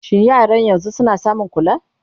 shin yaran yanzun suna samun kula?